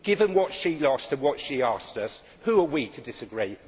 Given what she lost and what she asked us, who are we to disagree?